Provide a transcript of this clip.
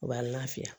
U b'an lafiya